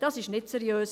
Das ist nicht seriös.